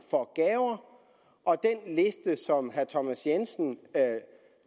og den liste som herre thomas jensen